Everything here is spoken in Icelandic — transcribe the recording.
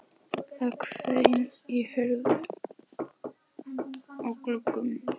Það hvein í hurðum og gluggum.